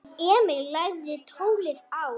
Emil lagði tólið á.